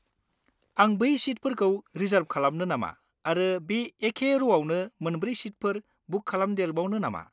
आं बै सिटफोरखौ रिजार्ब खालामनो नामा आरो बे एके र'आवनो मोनब्रै सिटफोरखौ बुक खालामदेरबावनो नामा?